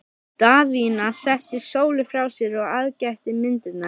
Daðína setti Sólu frá sér og aðgætti myndirnar.